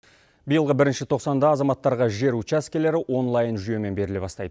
биылғы бірінші тоқсанда азаматтарға жер учаскелері онлайн жүйемен беріле бастайды